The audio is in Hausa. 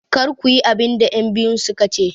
Kar ku yi abin da 'yanbiyun su ka ce!